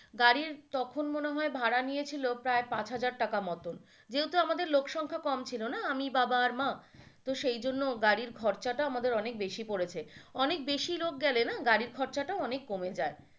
গাড়ির তখন মনে হয় ভাড়া নিয়েছিল প্রায় পাঁচ হাজার টাকার মতো যেহেতু আমাদের লোক সংখ্যা কম ছিলনা আমি বাবা আর মা তো সেই জন্য গাড়ির খরচাটা আমাদের অনেক বেশি পড়েছে অনেক বেশি লোক গেলে না গাড়ির খরচাটা অনেক কমে যায়।